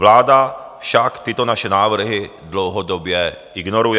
Vláda však tyto naše návrhy dlouhodobě ignoruje.